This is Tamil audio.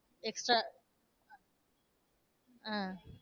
extra அஹ்